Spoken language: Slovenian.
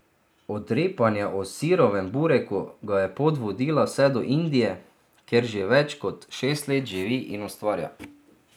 Od repanja o sirovem bureku ga je pot vodila vse do Indije, kjer že več kot šest let živi in ustvarja.